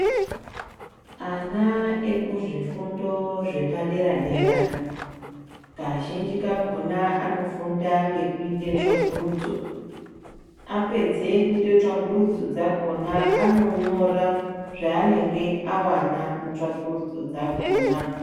Ana ekuzvifundo zvepaderadera, kazhinji kakhona anofunda ngekuyitetswa gurudzo. Apedze kutetswa gurudzo dzakhona, anonyora zvanenge awana mutsvakurudzo dzakhona.